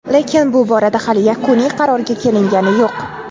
Lekin bu borada hali yakuniy qarorga kelingani yo‘q.